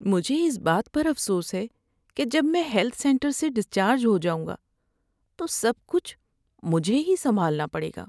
مجھے اس بات پر افسوس ہے کہ جب میں ہیلتھ سینٹر سے ڈسچارج ہو جاؤں گا تو سب کچھ مجھے ہی سنبھالنا پڑے گا۔